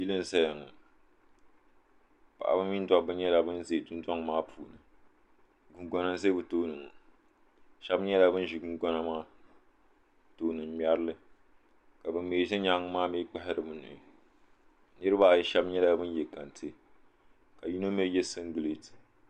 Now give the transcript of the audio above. yili n zaya ŋɔ paɣba mini da ba nyɛla ban ʒɛ dondoŋɔaa puuni gungona n ʒɛ bɛ tuuni ŋɔ shɛba nyɛla ban ʒɛ gongona maa tuuni n ŋmɛrili ka ban mi ʒɛ nyɛŋa maa kpahirila bɛ nuhi niribaayi shɛba nyɛla ban yɛ kɛntɛ ka yino mi yɛsimgilitɛ